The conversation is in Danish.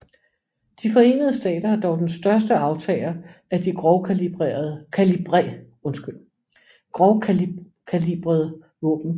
De Forenede Stater er dog den største aftager af de grovkalibrede våben